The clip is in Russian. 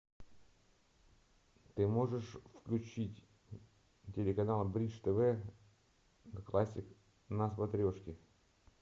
ты можешь включить телеканал бридж тв классик на смотрешке